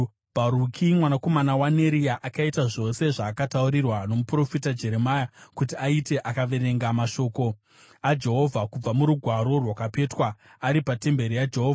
Bharuki mwanakomana waNeria akaita zvose zvaakataurirwa nomuprofita Jeremia kuti aite; akaverenga mashoko aJehovha kubva murugwaro rwakapetwa, ari patemberi yaJehovha.